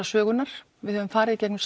sögunnar við höfum farið í gegnum